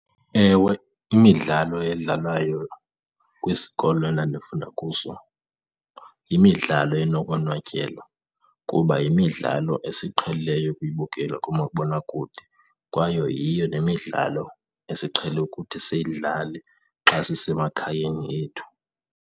Ewe, imidlalo edlalwayo kwisikolo endandifunda kuso yimidlalo enokonwatyelwa kuba yimidlalo esiyiqhelileyo ukuyibukela kumabonakude kwayo yiyo nemidlalo esiqhele ukuthi siyidlale xa sisemakhayeni ethu.